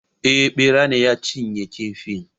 Eh Ɓera ne ya cinye kifin